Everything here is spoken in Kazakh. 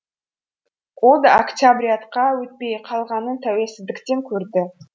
ол да октябрятқа өтпей қалғанын тәуелсіздіктен көрді